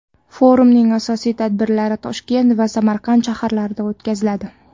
Forumning asosiy tadbirlari Toshkent va Samarqand shaharlarida o‘tkaziladi.